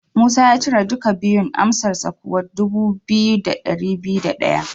Musa ya cire duka biyun, amsarsa kuwa dubu biyu da dari biyu da daya.